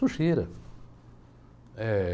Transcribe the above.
Sujeira, eh